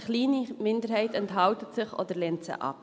Eine kleine Minderheit enthält sich oder lehnt sie ab.